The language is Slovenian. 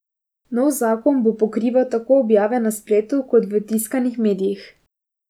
Nov zakon bo pokrival tako objave na spletu kot v tiskanih medijih.